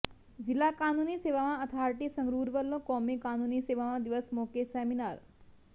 ਜ਼ਿਲ੍ਹਾ ਕਾਨੂੰਨੀ ਸੇਵਾਵਾਂ ਅਥਾਰਟੀ ਸੰਗਰੂਰ ਵੱਲੋਂ ਕੌਮੀ ਕਾਨੂੰਨੀ ਸੇਵਾਵਾਂ ਦਿਵਸ ਮੌਕੇ ਸੈਮੀਨਾਰ